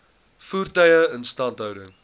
voertuie instandhouding